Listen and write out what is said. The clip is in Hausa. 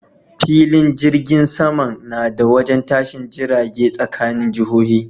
Filin jirgin saman nada wajen tashin jiragen tsakanin jihohi